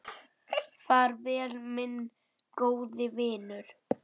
Far vel, minn góði vinur.